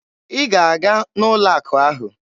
Ị ga-aga n'ụlọ akụ ahụ!